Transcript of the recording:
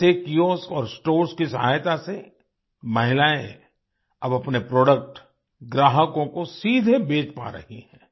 ऐसे कियोस्क और स्टोर्स की सहायता से महिलाएँ अब अपने प्रोडक्ट ग्राहकों को सीधे बेच पा रही हैं